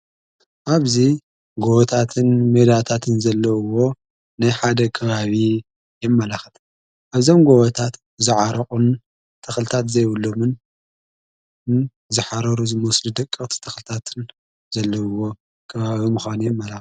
ኣብዙይ ጐወታትን ሜዳታትን ዘለዉዎ ናይ ሓደ ገባቢ የመላኽት ኣብዛም ጐወታት ዝዓርቑን ተኽልታት ዘይብሉምንን ዝኃረሩ ዝመስሊ ደቀርቲ ተኽልታትን ዘለዉዎ ክባዊ ምዃኑ የመላክት።